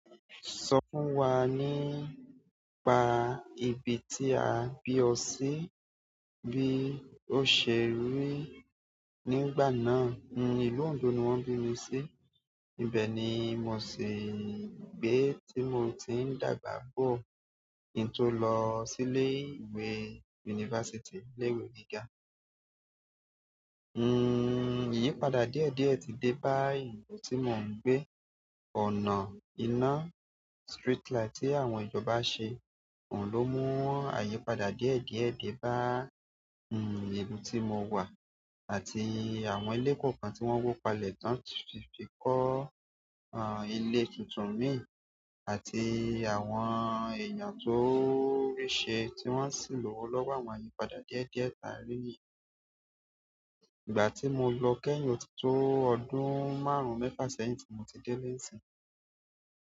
Sọ fún wa nípa ibi tí a bí ọ sí bí ó ṣe rí nígbà náà. Ìlú Ondo ni wọ́n bí mi sí. Ibẹ̀ ni mo sì ń gbé tí mo ti ń dàgbà bó ki i tó lọ sí ilé ìwé yunifásítì, ilé ìwé gíga. Ìyípadà díẹ̀ díẹ̀ ti dé bá ìlú tí mò ń gbé. Ọ̀nà iná street light tí àwọn ìjọba ṣe, ohun ló mú àyípadà díẹ̀ díẹ̀ dé bá a, ibi tí mo wà àti àwọn ilé kọ̀ọ̀kan tí wọ́n wó palẹ́ tán fi kọ́, ilé tuntun mìí àti àwọn èèyàn tó o ríṣẹ́ tí wọ́n sì ń lówó lọ́wọ́ àwọn àyípadà díẹ̀ díẹ̀ ta rí ni yìí. Ìgbà tí mo lọ kẹ́yìn òtítọ́ ọdún márùn-ún mẹ́fà sẹ́yìn tí mo ti dé ile nsí.